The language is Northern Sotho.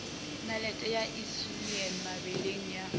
nalete ya insulin mebeleng ya